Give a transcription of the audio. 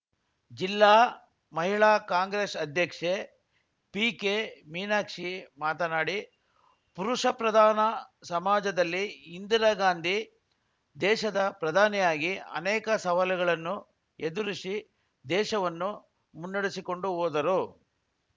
ಜಿಲ್ಲಾ ಮಹಿಳಾ ಕಾಂಗ್ರೆಸ್‌ ಅಧ್ಯಕ್ಷೆ ಪಿಕೆಮೀನಾಕ್ಷಿ ಮಾತನಾಡಿ ಪುರುಷ ಪ್ರಧಾನ ಸಮಾಜದಲ್ಲಿ ಇಂದಿರಾಗಾಂಧಿ ದೇಶದ ಪ್ರಧಾನಿಯಾಗಿ ಅನೇಕ ಸವಾಲುಗಳನ್ನು ಎದುರಿಸಿ ದೇಶವನ್ನು ಮುನ್ನಡೆಸಿಕೊಂಡು ಹೋದರು